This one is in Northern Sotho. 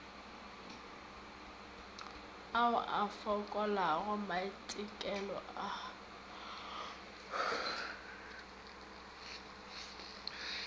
ao a fokolago maitekelo a